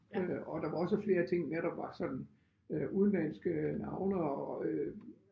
Øh og der var også flere ting med der var sådan øh udenlandske navne og øh